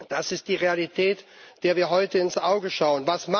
Das ist die Realität, der wir heute ins Auge schauen.